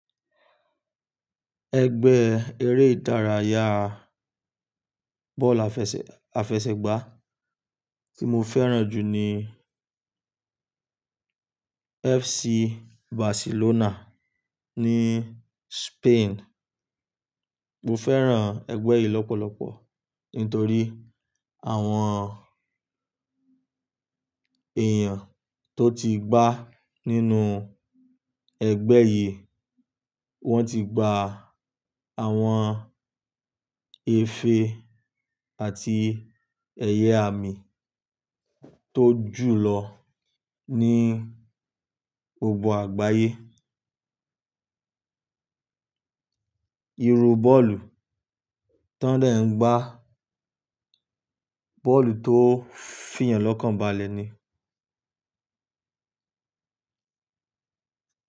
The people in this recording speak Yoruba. Ẹgbẹ́ eré ìdárayá bọ́ọ̀lù àfẹsẹ̀gbá tí mo fẹ́ràn jù ni FC Barcelona ní Spain. Mo fẹ́ràn ẹgbẹ́ yìí lọ́pọ̀lọpọ̀ nítorí àwọn èèyàn tó ti gbá nínú ẹgbẹ́ yìí, wọ́n ti gba àwọn ife àti ẹ̀yẹ àmì tó jù lọ ní gbogbo àgbáyé. Iru bọ́ọ̀lù tán dẹ̀ ń gbá bọ́ọ̀lù tó fìyàn lọ́kànbalẹ̀ ni.